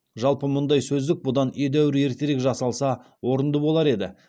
жалпы мұндай сөздік бұдан едәуір ертерек жасалса орынды болар еді